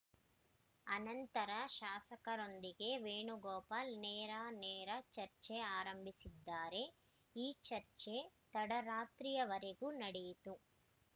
ಅನಂತರ ಶಾಸಕರೊಂದಿಗೆ ವೇಣುಗೋಪಾಲ್‌ ನೇರಾನೇರ ಚರ್ಚೆ ಆರಂಭಿಸಿದ್ದಾರೆ ಈ ಚರ್ಚೆ ತಡರಾತ್ರಿಯವರೆಗೂ ನಡೆಯಿತು